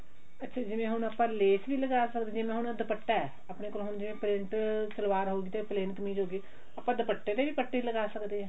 ਅੱਛਾ ਜਿਵੇਂ ਹੁਣ ਆਪਾਂ ਲੈਸ ਨੀ ਲਗਾ ਸਕਦੇ ਜਿਵੇਂ ਹੁਣ ਦੁਪੱਟਾ ਆਪਣੇ ਕੋਲ ਜਿਵੇਂ ਹੁਣ ਪ੍ਰਿੰਟ ਸਲਵਾਰ ਹੋਗੀ ਤੇ plain ਕਮੀਜ਼ ਹੋਗੀ ਆਪਾਂ ਦੁਪੱਟੇ ਤੇ ਵੀ ਪੱਟੀ ਲਗਾ ਸਕਦੇ ਹਾਂ